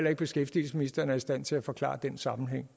at beskæftigelsesministeren er i stand til at forklare den sammenhæng